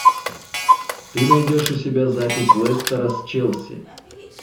ты найдешь у себя запись лестера с челси